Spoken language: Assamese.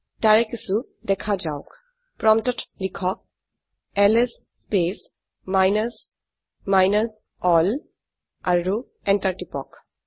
তাৰে কিছু দেখা যাওক প্ৰম্পটত লিখক LS space minus minus L আৰু এন্টাৰ টিপক